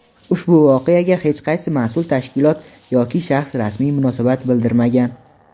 ushbu voqeaga hech qaysi mas’ul tashkilot yoki shaxs rasmiy munosabat bildirmagan.